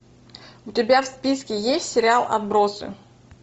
у тебя в списке есть сериал отбросы